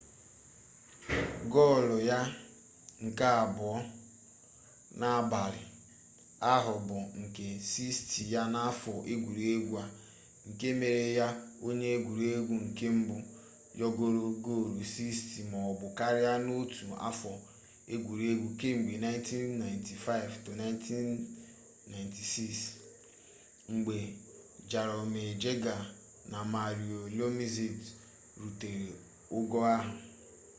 gol ya nke abụọ n'abalị ahụ bụ nke 60 ya n'afọ egwuregwu a nke mere ya onye egwuregwu nke mbụ yọgoro gol 60 maọbụ karịa n'otu afọ egwuregwu kemgbe 1995-96 mgbe jaromir jagr na mario lemieux rutere ogo ahụ